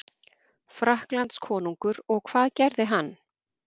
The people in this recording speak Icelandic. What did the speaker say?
Frakklandskonungur og hvað gerði hann?